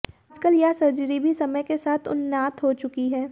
आजकल यह सर्जरी भी समय के साथ उन्नात हो चुकी है